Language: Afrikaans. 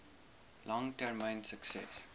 lang termyn sukses